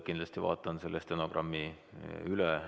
Kindlasti vaatan selle stenogrammi üle.